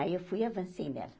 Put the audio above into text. Aí eu fui e avancei nela.